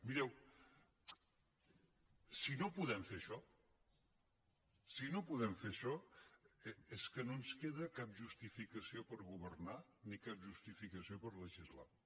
mireu si no podem fer això si no podem fer això és que no ens queda cap justificació per governar ni cap justificació per legislar